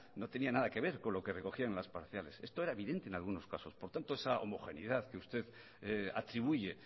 no tenía nada que ver con lo que recogían las parciales esto era evidente en algunos casos por tanto esa homogeneidad que usted atribuye